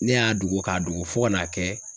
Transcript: Ne y'a dogo k'a dogo fo ka n'a kɛ